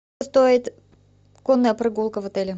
стоит конная прогулка в отеле